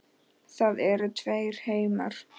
Það eru tveir heimar.